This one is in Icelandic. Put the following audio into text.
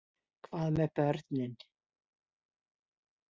Hvað með börnin?